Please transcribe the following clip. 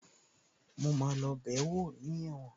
Mo máa lọ bẹ̀ẹ́wò ní ẹ̀wọ̀n